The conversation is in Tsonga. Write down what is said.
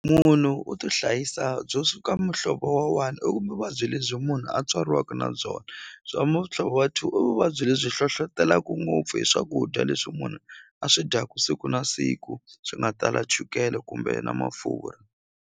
Munhu u tihlayisa byo suka muhlovo wa one i ku muvabyi lebyi munhu a tswariwaku na byona bya muhlovo wa two i vuvabyi lebyi hlohlotelaku ngopfu hi swakudya leswi munhu a swi dyaka siku na siku swi nga tala chukele kumbe na mafurha.